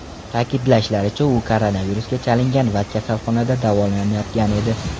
Ta’kidlashlaricha, u koronavirusga chalingan va kasalxonada davolanayotgan edi.